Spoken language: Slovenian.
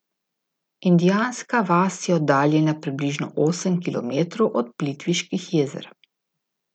Indijanska vas je oddaljena približno osem kilometrov od Plitviških jezer.